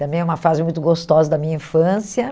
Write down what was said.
Também é uma fase muito gostosa da minha infância.